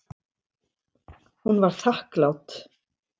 Hún var þakklát.